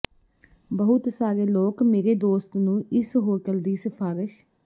ਬਹੁਤ ਸਾਰੇ ਲੋਕ ਮੇਰੇ ਦੋਸਤ ਨੂੰ ਇਸ ਹੋਟਲ ਦੀ ਸਿਫਾਰਸ਼